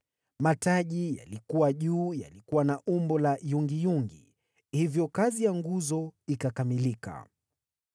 Mataji yaliyokuwa juu yalikuwa na umbo la yungiyungi. Hivyo kazi ya nguzo ikakamilika.